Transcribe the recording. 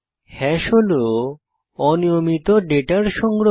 hash হল অনিয়মিত ডেটার সংগ্রহ